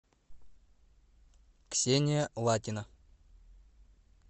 ксения латина